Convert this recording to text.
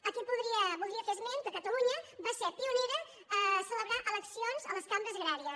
aquí voldria fer esment que catalunya va ser pionera a ce·lebrar eleccions a les cambres agràries